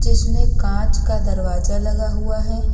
इसमें कांच का दरवाजा लगा हुआ है।